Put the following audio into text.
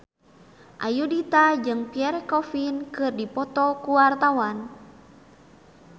Ayudhita jeung Pierre Coffin keur dipoto ku wartawan